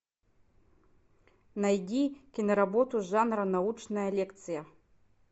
найди киноработу жанра научная лекция